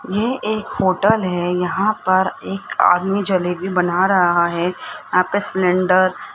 ये एक होटल है यहां पर एक आदमी जलेबी बना रहा है यहाँ पे सिलेंडर --